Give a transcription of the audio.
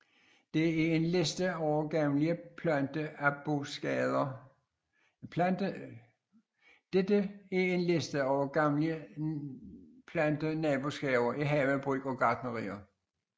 Dette er en liste over gavnlige Plantenaboskaber i havebrug og gartneri